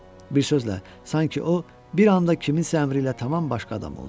Bir sözlə, sanki o, bir anda kiminsə əmri ilə tamam başqa adam oldu.